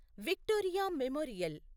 Victoria memorial